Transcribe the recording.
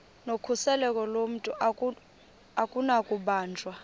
nokhuseleko lomntu akunakubanjwa